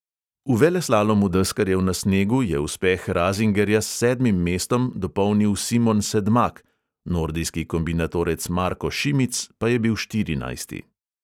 V veleslalomu deskarjev na snegu je uspeh razingerja s sedmim mestom dopolnil simon sedmak, nordijski kombinatorec marko šimic pa je bil štirinajsti.